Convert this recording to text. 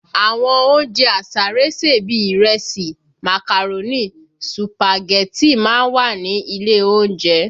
Àwọn oúnjẹ àsáré sè bíi ìrẹsì, màkàrónì, sùpàgẹ́tì má ń wà ní ilé oúnjẹ